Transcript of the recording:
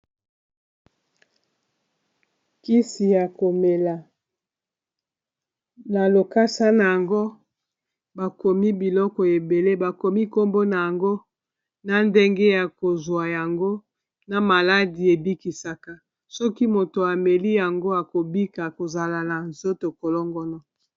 kisi ya komela na lokasa na yango bakomi biloko ebele bakomi nkombo na yango na ndenge ya kozwa yango na maladi ebikisaka soki moto ameli yango akobika kozala na nzoto kolongona